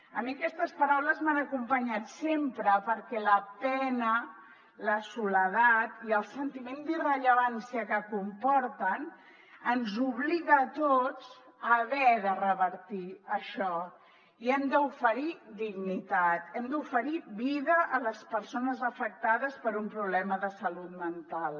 a mi aquestes paraules m’han acompanyat sempre perquè la pena la soledat i el sentiment d’irrellevància que comporten ens obliguen a tots a haver de revertir això i hem d’oferir dignitat hem d’oferir vida a les persones afectades per un problema de salut mental